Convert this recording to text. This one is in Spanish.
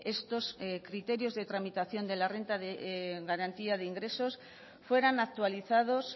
estos criterios de tramitación de la renta de garantía de ingresos fueran actualizados